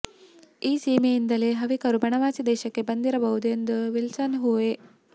ಈ ಸೀಮೆಯಿಂದಲೇ ಹವಿಕರು ಬನವಾಸಿ ದೇಶಕ್ಕೆ ಬಂದಿರಬಹುದು ಎಂದು ವಿಲ್ಸನ್ನ ಊಹೆ